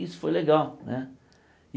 Isso foi legal né.